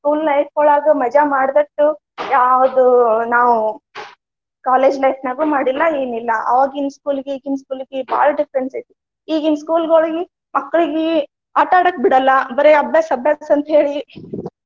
School life ಯೊಳಗ ಮಜಾ ಮಾಡಿದಟ್ಟು ಯಾವದು ನಾವು college life ನ್ಯಾಗು ಮಾಡಿಲ್ಲಾ ಎನಿಲ್ಲಾ. ಅವಾಗಿನ school ಗೆ ಈಗಿನ school ಗೆ ಬಾಳ difference ಐತಿ. ಈಗಿನ school ಗಳಲ್ಲಿ ಮಕ್ಳಿಗಿ ಆಟಾ ಆಡಾಕ ಬಿಡಲ್ಲಾ, ಬರೆ ಅಭ್ಯಾಸ, ಅಭ್ಯಾಸ ಅಂತ ಹೇಳಿ .